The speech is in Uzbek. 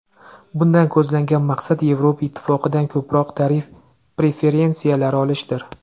Bundan ko‘zlangan maqsad Yevropa Ittifoqidan ko‘proq tarif preferensiyalari olishdir.